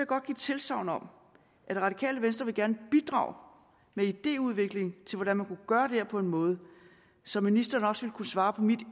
godt give tilsagn om at det radikale venstre gerne bidrage med idéudvikling til hvordan man kunne gøre det her på en måde så ministeren også ville kunne svare på mit